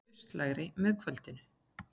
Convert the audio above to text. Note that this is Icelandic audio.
Austlægari með kvöldinu